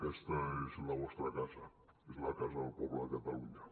aquesta és la vostra casa és la casa del poble de catalunya